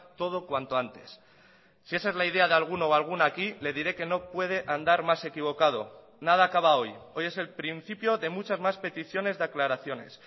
todo cuanto antes si esa es la idea de alguno o alguna aquí le diré que no puede andar más equivocado nada acaba hoy hoy es el principio de muchas más peticiones de aclaraciones